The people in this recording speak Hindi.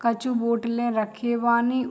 कछु बोटलें रखे बानी।